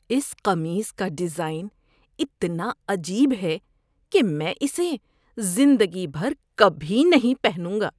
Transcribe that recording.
اس قمیص کا ڈیزائن اتنا عجیب ہے کہ میں اسے زندگی بھر کبھی نہیں پہنوں گا۔